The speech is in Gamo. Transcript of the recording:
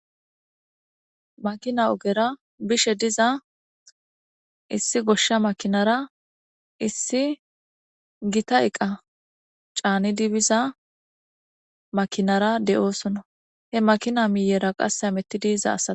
makina ogera bishe diza issi goshsha makinara issi gita eqa caani dibiza makinara de7oosono he makina miiyera qasse ametti diiza assa